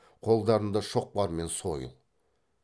қолдарында шоқпар мен сойыл